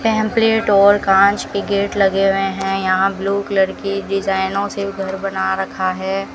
Pamphlet और कांच की गेट लगे हुए हैं यहां ब्लू कलर की डिजाइनों से घर बना रखा है।